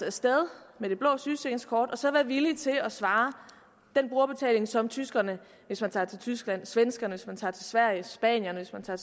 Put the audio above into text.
af sted med det blå sygesikringskort og så være villig til at svare den brugerbetaling som tyskerne hvis man tager til tyskland svenskerne hvis man tager til sverige spanierne hvis man tager